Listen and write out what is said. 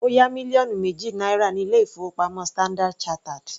Ó yá mílíọ̀nù méjì náírà ní ilé-ìfowópamọ́ Standard chartered.